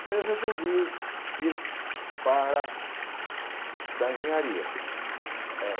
Então eu resolvi ir para estudar engenharia.